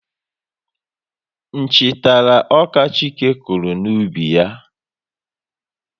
Nchi tara ọka Chike kụrụ n'ubi ya